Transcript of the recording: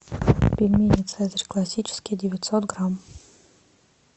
пельмени цезарь классические девятьсот грамм